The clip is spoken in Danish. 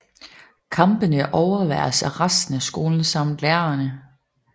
Kampene overværes af resten af skolen samt lærerne